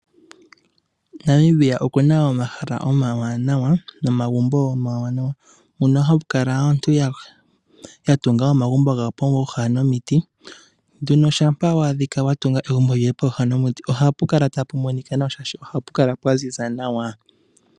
Namibia okuna omahala nomagumbo omawanawa. Mono hamu kala aantu yatunga omagumbo gawo pooha nomiti. Nduno shampa wa adhika watunga egumbo lyoye pooha nomiti ohapu kala tapu monika nawa shaashi ohapu kala pwa ziza nawa.